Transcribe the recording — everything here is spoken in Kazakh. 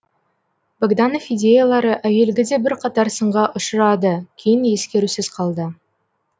богданов идеялары әуелгіде бірқатар сынға ұшырады кейін ескерусіз қалды